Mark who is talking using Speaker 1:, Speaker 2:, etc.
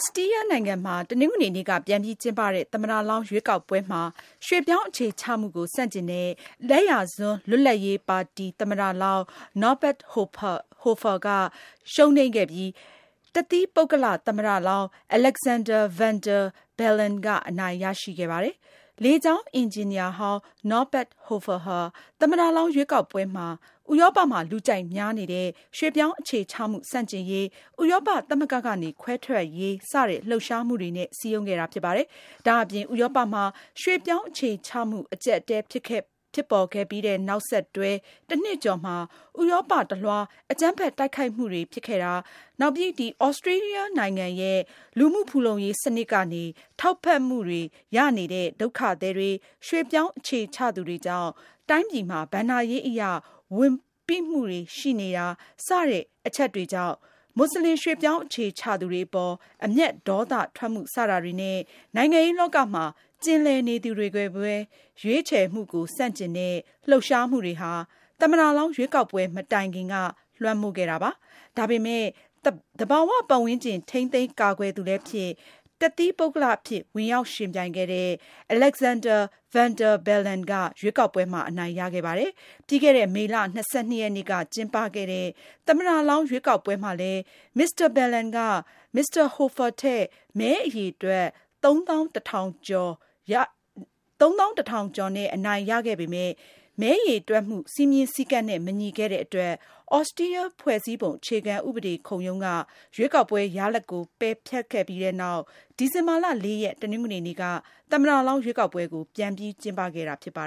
Speaker 1: စတြီးယားနိုင်ငံမှာ တနင်္ဂနွေနေ့က ပြန်ပြီးကျင်းပတဲ့ သမ္မတလောင်းရွေးကောက်ပွဲမှာ ရွှေ့ပြောင်းအခြေချမှုကို ဆန့်ကျင်တဲ့ လက်ယာစွန်း လွတ်လပ်ရေးပါတီ သမ္မတလောင်း Norbert Hofer က ရှုံးနိမ့်ခဲ့ပြီး တသီးပုဂ္ဂလ သမ္မတလောင်း Alexander VanDer Bellen က အနိုင်ရရှိခဲ့ပါတယ်။ လေကြောင်း အင်ဂျင်နီယာဟောင်း နောဘတ် ဟိုဖာဟာ သမ္မတလောင်းရွေးကောက်ပွဲမှာ ဥရောပမှာ လူကြိုက်များနေတဲ့ ရွှေ့ပြောင်းအခြေချမှုဆန့်ကျင်ရေး၊ ဥရောပသမဂ္ဂကနေ ခွဲထွက်ရေး စတဲ့ လှုပ်ရှားမှုတွေ နဲ့ စည်းရုံးခဲ့တာဖြစ်ပါတယ်။ ဒါအပြင် ဥရောပမှာ ရွှေ့ပြောင်းအခြေချမှု အကြပ်အတည်းဖြစ်ပေါ်ခဲ့ပြီး နောက်ဆက်တွဲ တနှစ်ကျော်မှာ ဥရောပတလွှား အကြမ်းဖက်တိုက်ခိုက်မှုတွေဖြစ်ခဲ့တာ၊ နောက် သြစတြီးယားနိုင်ငံရဲ့ လူမှုဖူလုံရေးစနစ်ကနေ ထောက်ပံမှုတွေရနေတဲ့ ဒုက္ခသည်တွေ၊ ရွှေ့ပြောင်းအခြေချသူတွေကြောင့် တိုင်းပြည်မှာ ဘဏ္ဍာရေးအရ ဝန်ပိမှုတွေရှိနေတဲ့ အချက်တွေကြောင့် မွတ်ဆလင် ရွှေ့ပြောင်းအခြေချသူတွေအပေါ် အမျက်ဒေါသထွက်မှု စတာတွေနဲ့ ဝါစဉ်အရ နိုင်ငံရေးလုပ်ခဲ့မှုကိုဆန့်ကျင်တဲ့ လှုပ်ရှားမှုတွေဟာ သမ္မတလောင်း ရွေးကောက်ပွဲ မတိုင်ခင်က လွှမ်းမိုးခဲ့တာပါ။ ဒါပေမဲ့ သဘာဝပတ်ဝန်းကျင်ထိန်းသိမ်းကာကွယ်သူလည်းဖြစ် တသီးပုဂ္ဂလ အဖြစ်ဝင်ရောက်ယှဉ်ပြိုင်ခဲ့တဲ့ Alexander VanDer Bellen က ရွေးကောက်ပွဲမှာ အနိုင်ရခဲ့ပါတယ်။ ပြီးခဲ့တဲ့ မေလ ၂၂ ရက်နေ့က ကျင်းပခဲ့တဲ့ သမ္မတလောင်းရွေးကောက်ပွဲမှာလည်း Mr. Bellen က Mr. Hofer ထက် မဲအရေအတွက် ၃၁,၀၀၀ ကျော်ရရှိပြီး အနိုင်ရခဲ့ပေမဲ့ မဲအရေအတွက် မှားယွင်းမှုတွေကြောင့် သြစတြီးယား ဖွဲ့စည်းပုံအခြေခံဥပဒေ ခုံရုံးက ရွေးကောက်ပွဲရလာဒ်ကို ပဲဖျက်ခဲ့ပြီးနောက် ဒီဇင်ဘာလ (၄) ရက်တနင်္ဂနွေနေ့က သမ္မတလောင်းရွေးကောက်ပွဲ ပြန်ပြီးကျင်းပခဲ့တာဖြစ်ပါ